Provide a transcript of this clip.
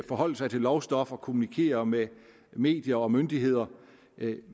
forholde sig til lovstof og kommunikere med medier og myndigheder